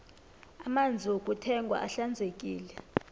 amanzi wokuthengwa ahlanzekile